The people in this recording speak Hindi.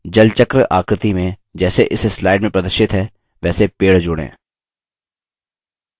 अगला जलचक्र आकृति में जैसे इस slide में प्रदर्शित है वैसे पेड़ जोड़ें